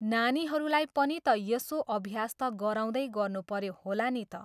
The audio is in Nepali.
नानीहरूलाई पनि त यसो अभ्यास त गराउँदै गर्नुपऱ्यो होला नि त।